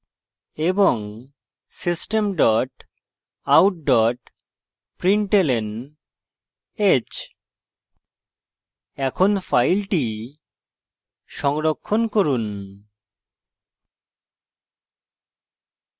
system dot out dot println h এখন file সংরক্ষণ করুন